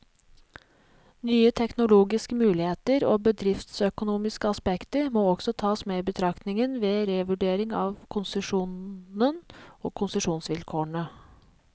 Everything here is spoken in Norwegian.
Nye teknologiske muligheter og bedriftsøkonomiske aspekter må også tas med i betraktningen, ved revurdering av konsesjonen og konsesjonsvilkårene.